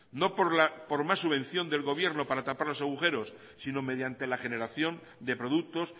no por más subvención del gobierno para tapar los agujeros sino mediante la generación de productos